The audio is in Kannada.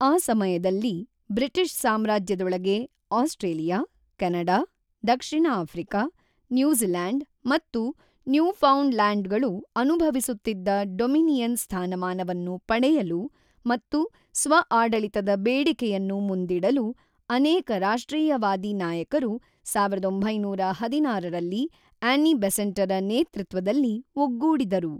ಆ ಸಮಯದಲ್ಲಿ ಬ್ರಿಟಿಷ್ ಸಾಮ್ರಾಜ್ಯದೊಳಗೆ ಆಸ್ಟ್ರೇಲಿಯ, ಕೆನಡಾ, ದಕ್ಷಿಣ ಆಫ್ರಿಕಾ, ನ್ಯೂಝಿಲ್ಯಾಂಡ್ ಮತ್ತು ನ್ಯೂಫೌಂಡ್‍ಲ್ಯಾಂಡ್‌ಗಳು ಅನುಭವಿಸುತ್ತಿದ್ದ ಡೊಮಿನಿಯನ್ ಸ್ಥಾನಮಾನವನ್ನು ಪಡೆಯಲು ಮತ್ತು ಸ್ವ-ಆಡಳಿತದ ಬೇಡಿಕೆಯನ್ನು ಮುಂದಿಡಲು ಅನೇಕ ರಾಷ್ಟ್ರೀಯವಾದಿ ನಾಯಕರು ೧೯೧೬ರಲ್ಲಿ ಆನ್ನಿ ಬೆಸೆಂಟರ ನೇತೃತ್ವದಲ್ಲಿ ಒಗ್ಗೂಡಿದರು.